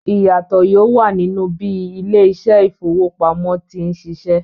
Ìyàtò yóò wà nínú bí ilé-iṣẹ́ ìfowópamọ́sí ti ń ṣiṣẹ́.